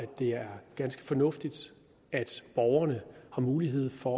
det er ganske fornuftigt at borgerne har mulighed for